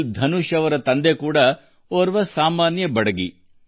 ಧನುಷ್ ಅವರ ತಂದೆ ಚೆನ್ನೈಯಲ್ಲಿ ಬಡಗಿ